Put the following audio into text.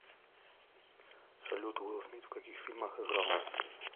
салют уилл смит в каких фильмах играл